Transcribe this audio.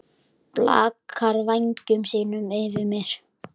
Blakar vængjum sínum yfir mér.